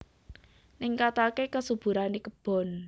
Ningkataké kasuburané kebon